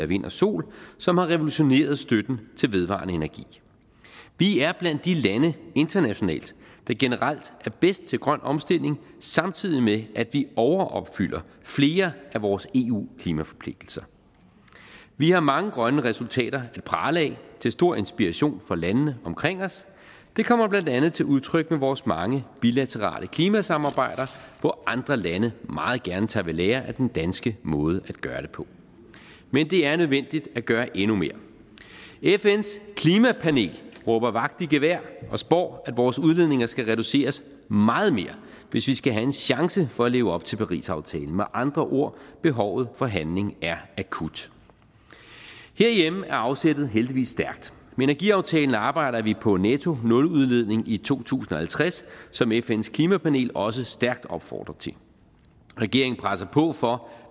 vind og sol som har revolutioneret støtten til vedvarende energi vi er blandt de lande internationalt der generelt er bedst til grøn omstilling samtidig med at vi overopfylder flere af vores eu klimaforpligtelser vi har mange grønne resultater at prale af til stor inspiration for landene omkring os det kommer blandt andet til udtryk med vores mange bilaterale klimasamarbejder hvor andre lande meget gerne tager ved lære af den danske måde at gøre det på men det er nødvendigt at gøre endnu mere fns klimapanel råber vagt i gevær og spår at vores udledninger skal reduceres meget mere hvis vi skal have en chance for at leve op til parisaftalen med andre ord behovet for handling er akut herhjemme er afsættet heldigvis stærkt energiaftalen arbejder vi på nettonuludledning i to tusind og halvtreds som fns klimapanel også stærkt opfordrer til regeringen presser på for